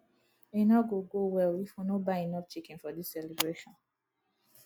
e no go go well if we no buy enough chicken for dis celebration